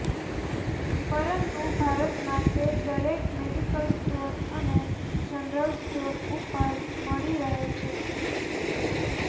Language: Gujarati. પરંતુ ભારતમાં તે દરેક મેડીકલ સ્ટોર અને જનરલ સ્ટોર ઉપર મળી રહે છે